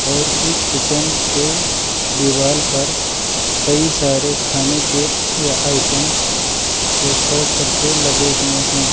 और इस किचन के दीवाल पर कई सारे खाने के या आइटम्स पोस्टर करके लगे हुए हैं।